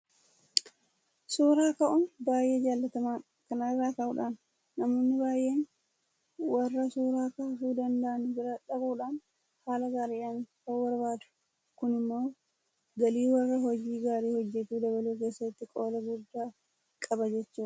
Suura ka'uun baay'ee jaalatamaadha. Kana irraa ka'uudhaan namoonni baay'een warra suura kaasuu danda'an bira dhaquudhaan haala gaariidhaan ka'uu barbaadu. Kun immoo galii warra hojii gaarii hojjetuu dabaluu keessatti qooda guddaa qaba jechuudha.